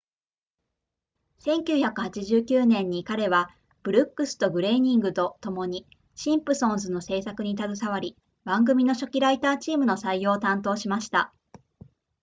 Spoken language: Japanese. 1989年に彼はブルックスとグレイニングとともにシンプソンズの制作に携わり番組の初期ライターチームの採用を担当しました